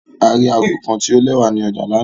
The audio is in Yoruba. A ri aago kan ti o lẹwa ni ọja lana